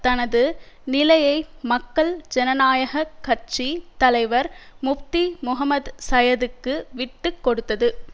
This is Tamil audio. தனது நிலையை மக்கள் ஜனநாயக கட்சி தலைவர் முப்தி முகம்மது சயதுக்கு விட்டு கொடுத்தது